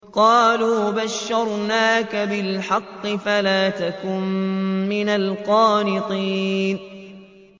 قَالُوا بَشَّرْنَاكَ بِالْحَقِّ فَلَا تَكُن مِّنَ الْقَانِطِينَ